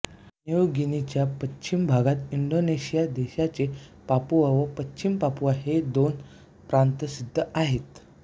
new गिनीच्या पश्चिम भागात इंडोनेशिया देशाचे पापुआ व पश्चिम पापुआ हे दोन प्रांत स्थित आहेत